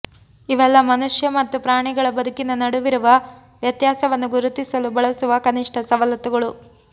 ಇವೆಲ್ಲ ಮನುಷ್ಯ ಮತ್ತು ಪ್ರಾಣಿಗಳ ಬದುಕಿನ ನಡುವಿರುವ ವ್ಯತ್ಯಾಸವನ್ನು ಗುರುತಿಸಲು ಬಳಸುವ ಕನಿಷ್ಠ ಸವಲತ್ತುಗಳು